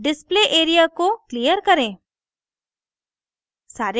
display area को clear करें